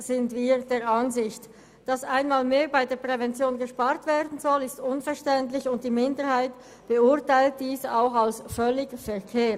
Dass einmal mehr bei der Prävention gespart werden soll, ist unverständlich, und die FiKoMinderheit beurteilt dies auch als völlig verfehlt.